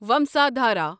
ومسادھارا